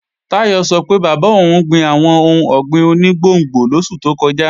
Táyọ̀ sọ pé bàbá òun gbin àwọn ohun ọ̀gbìn oní gbòngbò lósù tó kọjá